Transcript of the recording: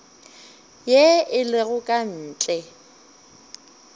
ye e lego ka ntle